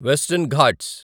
western Ghats